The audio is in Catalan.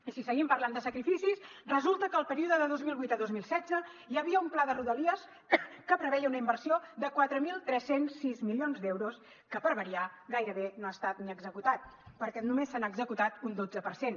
i si seguim parlant de sacrificis resulta que el període de dos mil vuit a dos mil setze hi havia un pla de rodalies que preveia una inversió de quatre mil tres cents i sis milions d’euros que per variar gairebé no ha estat ni executat perquè només se n’ha executat un dotze per cent